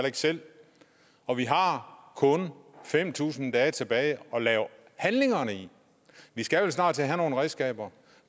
ikke selv og vi har kun fem tusind dage tilbage at lave handlingerne i vi skal vel snart til at have nogle redskaber